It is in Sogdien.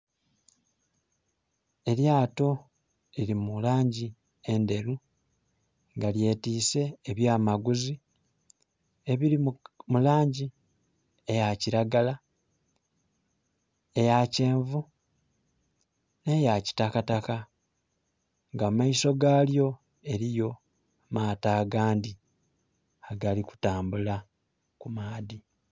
Elyato liri mu langi endheru nga lyetise ebya maguzi ebiri mu langi eya kiragala, eya kyenvu ne ya kitakataka. Nga mu maiso galyo eriyo amaato agandhi agali kutambula ku maadhi.